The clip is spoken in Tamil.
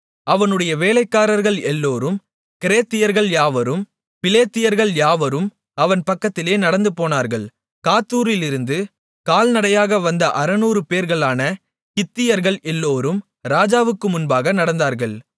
அவனுடைய வேலைக்காரர்கள் எல்லாரும் கிரேத்தியர்கள் யாவரும் பிலேத்தியர்கள் யாவரும் அவன் பக்கத்திலே நடந்து போனார்கள் காத்தூரிலிருந்து கால்நடையாக வந்த அறுநூறுபேர்களான கித்தியர்கள் எல்லோரும் ராஜாவுக்கு முன்பாக நடந்தார்கள்